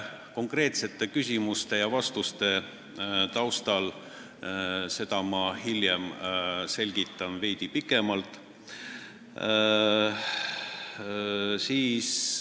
Konkreetsete küsimuste-vastuste taustal selgitan seda hiljem veidi pikemalt.